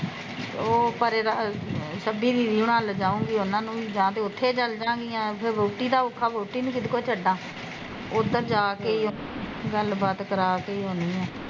ਤੇ ਉਹ ਪਰੇ ਛੱਬੀ ਦੀਦੀ ਹੁਣਾ ਨੂੰ ਲੇਜਾਊਗੀ ਉਹਨਾਂ ਨੂੰ ਵੀ, ਫੇਰ ਉੱਥੇ ਚਲਜਾਂਗੀਆਂ ਫੇਰ ਵਹੁਟੀ ਦਾ ਔਖਾ ਵਹੁਟੀ ਨੂੰ ਕਿਹਦੇ ਕੋਲ ਛੱਡਾ ਉੱਧਰ ਜਾਂ ਕੇ ਗੱਲ ਬਾਤ ਕਰਾ ਕੇ ਈ ਆਉਂਦੀ ਆ